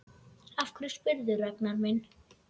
Af hverju spyrðu, Ragnar minn?